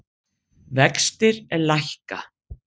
Vextir lækka